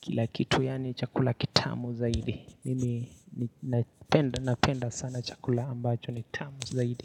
Kila kitu yaani chakula kitamu zaidi Mimi napenda sana chakula ambacho ni tamu zaidi.